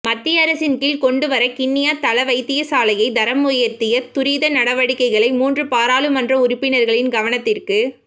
மத்திய அரசின் கீழ் கொண்டுவர கிண்ணியா தளவைத்தியசாலையை தரமுயர்த்த துரித நடவடிக்கைகளை மூன்று பாராளுமன்ற உறுப்பினர்களின் கவனத்திற்கு